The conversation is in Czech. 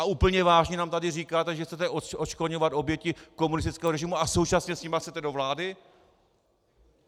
A úplně vážně nám tady říkáte, že chcete odškodňovat oběti komunistického režimu, a současně s nimi chcete do vlády?